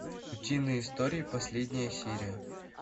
утиные истории последняя серия